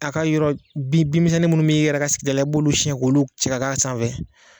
A ka yɔrɔ bin binmisɛnnin minnu bɛ i yɛrɛ ka sigida la i bolu siɲɛ k'olu cɛ ka k'a sanfɛ.